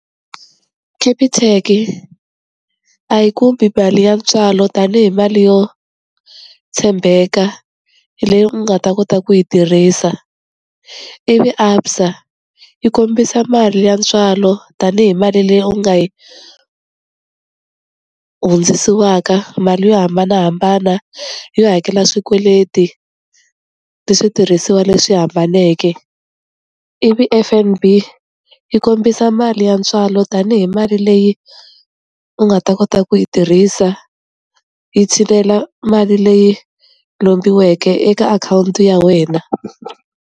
Capitec-i a yi kumi mali ya ntswalo tanihi mali yo tshembeka leyi u nga ta kota ku yi tirhisa ivi ABSA yi kombisa mali ya ntswalo tanihi mali leyi u nga yi hundzisiwaka mali yo hambanahambana yo hakela swikweleti ni switirhisiwa leswi hambaneke, ivi F_N_B yi kombisa mali ya ntswalo tanihi mali leyi u nga ta kota ku yi tirhisa yi tshinela mali leyi lombiweke eka akhawunti ya wena.